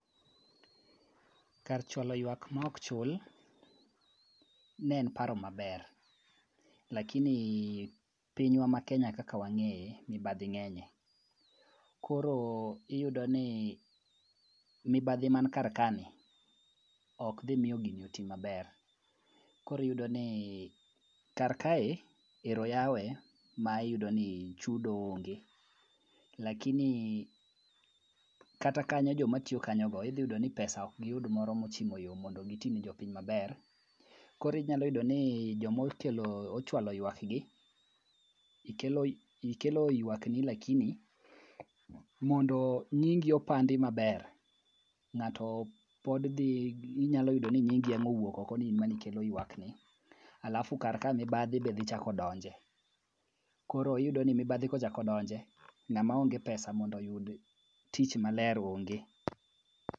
Kar chwalo yuak ma ok chul ne en paro maber lakini piny wa makenya kaka wang'eye, mibadhi ng'enye, koro iyudo ni mibadhi man kar kani ok dhi miyo gini oti maber. Koro iyudo ni kar kaeni ero oyawe, ma iyudoni chudo onge, lakini kata kanyo jomatiyo kanyogi idhi yudo ni pesa ok giyud moro mochimo yo mondo gitini jopiny maber, koro inyalo yudoni joma ochwalo ywak gi, ikelo ywakni lakini mondo nyingi opandi maber, ng'ato pod dhi, inyalo yudo ni nyingi ema owuok oko, ni in ema nikelo ywakni, alafu kar ka mibadhi be dhi chako donje, koro iyudoni mibadhi kochako donje, ng'ama onge pesa mondo oyud tich maler onge.